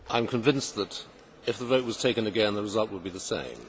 I am convinced that if the vote was taken again, the result would be the same.